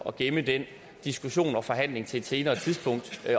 at gemme den diskussion og forhandling til et senere tidspunkt